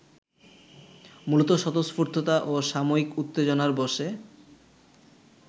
মূলত স্বতঃস্ফূর্ততা ও সাময়িক উত্তেজনার বশে